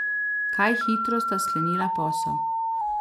Kaj hitro sta sklenila posel.